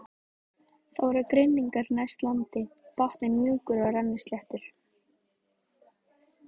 Það voru grynningar næst landi, botninn mjúkur og rennisléttur.